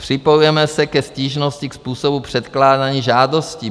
Připojujeme se ke stížnosti ke způsobu předkládání žádostí.